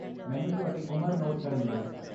ਮੈਨੂੰ ਤੁਹਾਡੀ ਉਮਰ ਨੋਟ ਕਰਨ ਦਿਓ।